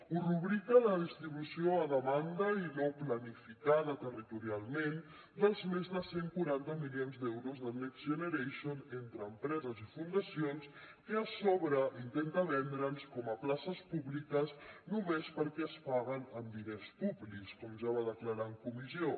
ho rubrica la distribució a demanda i no planificada territorialment dels més de cent i quaranta milions d’euros del next generation entre empreses i fundacions que a sobre intenta vendre’ns com a places públiques només perquè es paguen amb diners públics com ja va declarar en comissió